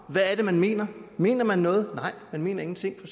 man mener mener man noget nej men mener ingenting